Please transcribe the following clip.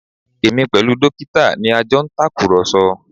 Èmi pẹ̀lú dókítà ni a jọ ń tàkùrọ̀sọ